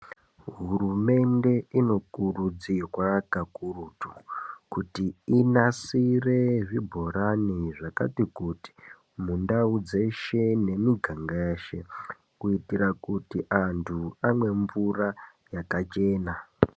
Hurumende inokurudzirwa kakurutu kuti inasire zvibhorani zvakati kuti mundau dzeshe nemiganga yeshe. Kuitira kuti antu amwe mvura yakachena.